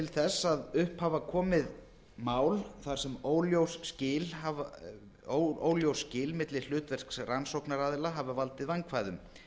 þess að upp hafa komið mál þar sem óljós skil milli hlutverks rannsóknaraðila hafa valdið vandkvæðum